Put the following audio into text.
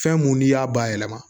Fɛn mun n'i y'a bayɛlɛma